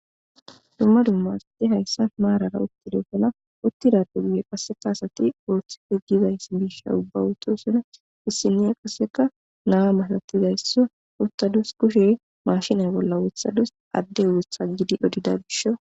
dumma dumma asade hayssan maarara uttidofana uttida dugwe qasseka asati ooththife gizayss bisha ubbawoto sina issiniya qasseka naa masatizaysso uttadus kushe mashinay bolla wothadus adde wotha gidi odida bisho